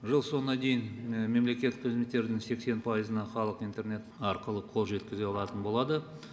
жыл соңына дейін мемлекеттік қызметтердің сексен пайызына халық интернет арқылы қол жеткізе алатын болады